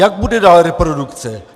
Jak bude dál reprodukce?